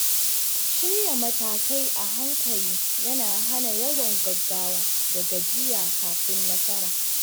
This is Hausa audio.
Shirya matakai a hankali yana hana yawan gaggawa da gajiya kafin nasara.